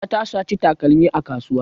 Marka ta saci takalmi a kasuwa.